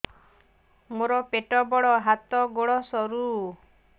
ମୋର ପେଟ ବଡ ହାତ ଗୋଡ ସରୁ